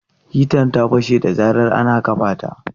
Hitan ta fashe da zarar ana kafa ta.